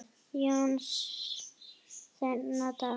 Jóns þennan dag.